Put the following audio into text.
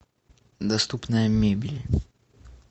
доступная мебель